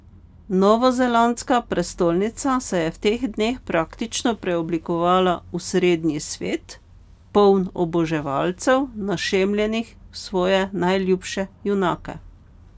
Novozelandska prestolnica se je v teh dneh praktično preoblikovala v Srednji svet, poln oboževalcev, našemljenih v svoje najljubše junake.